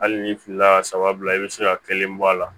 Hali ni filila saba bila i be se ka kelen bɔ a la